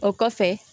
O kɔfɛ